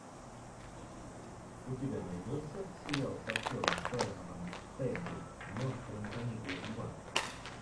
у тебя найдется сериал с актером саймоном пеггой монстры на каникулах два